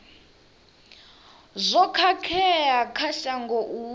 zwo khakhea kha shango u